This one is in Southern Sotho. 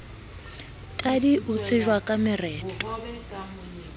tadi o tsejwa ka mereto